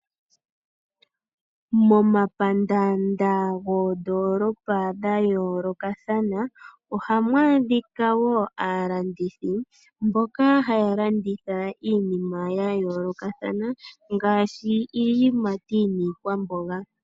Momapandaanda goondoolopa dha yoolokathana, ohamu adhika wo aalandithi mboka haa landitha iinima ya yoolokathana ngaashi iiyimati niikwamboga.